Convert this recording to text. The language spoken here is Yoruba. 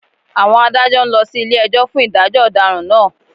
Àwọn Adájọ́ ń lọ sí ilé-ẹjọ́ fún ìdájọ́ ọ̀daràn náà